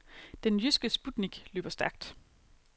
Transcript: Den jyske sputnik løber stærkt.